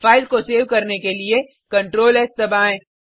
file को save करने के लिए CtrlS दबाएँ